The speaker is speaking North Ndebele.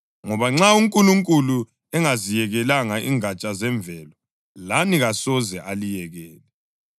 Ngoba nxa uNkulunkulu engaziyekelanga ingatsha zemvelo, lani kasoze aliyekele.